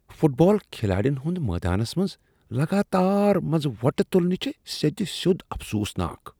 Fit بال کھلاڑین ہنٛد میدانس منز لگاتار منٛز وۄٹہٕ تُلنیہ چھ سیٚد سیوٚد افسوسناک۔